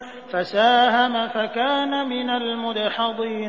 فَسَاهَمَ فَكَانَ مِنَ الْمُدْحَضِينَ